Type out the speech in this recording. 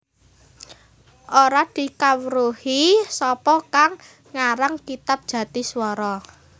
Ora dikawruhi sapa kang ngarang kitab Jatiswara